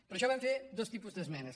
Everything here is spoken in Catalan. per això vam fer dos tipus d’esmenes